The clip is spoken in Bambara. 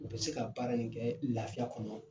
U be se ka baara in kɛ lafiya kɔnɔ